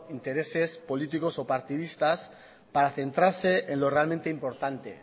intereses políticos o partidistas para centrarse en lo realmente importante